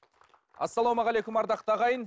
ассалаумағалейкум ардақты ағайын